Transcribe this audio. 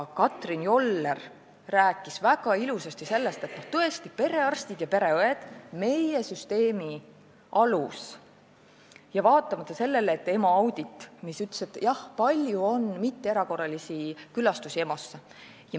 Karmen Joller rääkis väga ilusasti sellest, et perearstid ja pereõed on tõesti meie süsteemi alus, vaatamata EMO auditile, mis ütles, et EMO-s on palju mitteerakorralisi külastusi.